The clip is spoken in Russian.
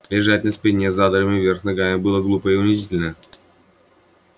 лежать на спине с задранными вверх ногами было глупо и унизительно